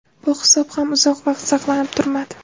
Bu hisob ham uzoq vaqt saqlanib turmadi.